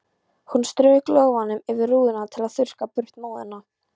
Hún strauk lófanum yfir rúðuna til að þurrka burt móðuna.